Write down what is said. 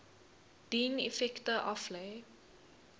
dien effekte aflê